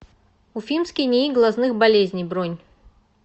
уфимский нии глазных болезней бронь